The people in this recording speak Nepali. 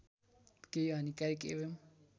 केही हानिकारक एवं